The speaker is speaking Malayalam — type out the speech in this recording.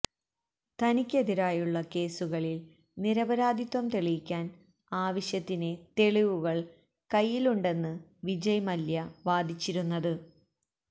തനിക്കെതിരായുള്ള കേസുകളിൽ നിരപരാധിത്വം തെളിയിക്കാൻ ആവശ്യത്തിന് തെളിവുകൾ കൈയ്യിലുണ്ടെന്ന് വിജയ് മല്യ വാദിച്ചിരുന്നത്